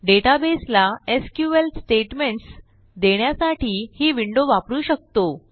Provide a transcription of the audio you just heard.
databaseला SQL statements देण्यासाठी ही window वापरू शकतो